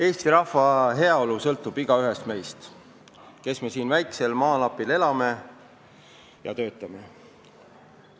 Eesti rahva heaolu sõltub igaühest meist, kes me siin väikesel maalapil elame ja töötame.